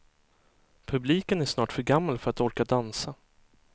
Publiken är snart för gammal för att orka dansa.